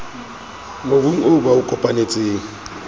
mobung oo ba o kopanetseng